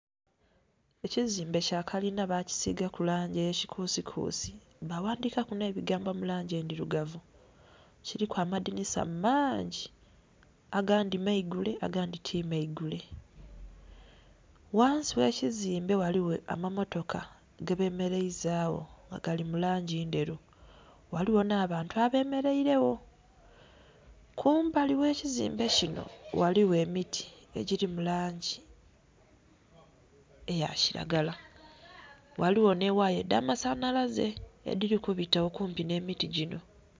Ekizimbe kya kalinha bakisigaku langi eya kikusi kusi nga baghandhika ku nhebigambo mulangi endhilugavu, kiliku amadhinisa mangi agandhi maigule agandhi ti maigule. Ghansi ghe kizimbe ghaligho amammotoka gebemereiza gho gali mulangi endhelu ghaligho nha bantu abemereire gho, kumbali ghe kizimbe kinho ghaligho emiti egili mulangi eya kilagala ghaligho nhe ghaya edha masanhalaze edhili kubita kumpi nhe miti ginho.